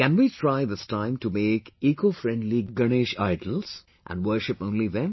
Can we try this time to make ecofriendly Ganesh statues and worship only them